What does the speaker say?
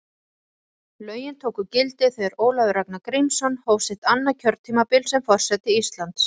Lögin tóku gildi þegar Ólafur Ragnar Grímsson hóf sitt annað kjörtímabil sem forseti Íslands.